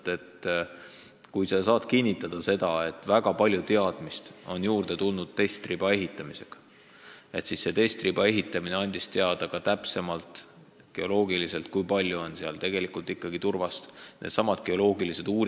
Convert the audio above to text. Aga ehk ta saab kinnitada, et väga palju teadmist on juurde tulnud tänu katseriba ehitamisele ja et nüüd on geoloogiliselt täpsemini teada, näiteks kui palju on seal tegelikult turbapinnast.